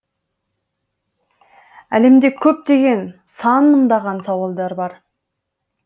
әлемде көптеген сан мыңдаған сауалдар бар